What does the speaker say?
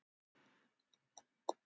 Hún var orðin hrædd við hann.